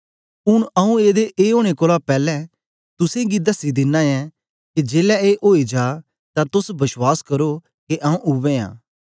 ऊन आऊँ एदे ए ओनें कोलां पैलैं तुसेंगी दसी दिना ऐं के जेलै ए होई जा तां तोस बश्वास करो के आऊँ उवै आं